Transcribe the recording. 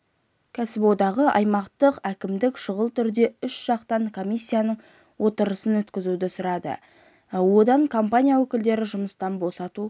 кәсіподағы аймақтық әкімдіктен шұғыл түрде үшжақты комиссияның отырысын өткізуді сұрады онда компания өкілдері жұмыстан босату